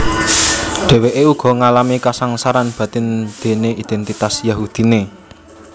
Dhèwèké uga ngalami kasangsaran batin déné idèntitas Yahudiné